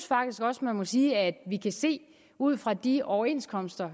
faktisk også man må sige at vi kan se ud fra de overenskomster